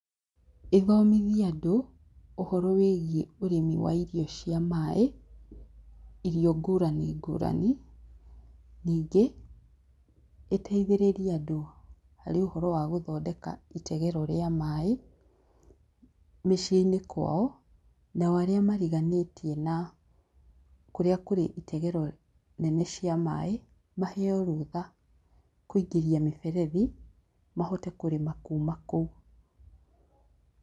Ĩthomithie andũ, ũhoro wĩgiĩ ũrĩmi wĩgiĩ ũrĩmi wa irio cia maĩ, irio ngũrani ngũrani, nĩngĩ, ĩteithĩrĩrie andũ harĩ ũhoro wa gũthondeka itegero rĩa maĩ, mĩciinĩ kwao, nao arĩa mariganĩtie na kũrĩa kũrĩ itegero nene cia maĩ, maheo rũtha kũingĩria mĩberethi, mahote kũrĩma kuma kũu.